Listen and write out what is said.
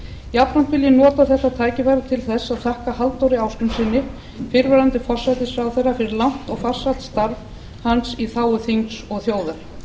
jafnframt vil ég nota þetta tækifæri til þess að þakka halldóri ásgrímssyni fyrrverandi forsætisráðherra fyrir langt og farsælt starf hans í þágu þings og þjóðar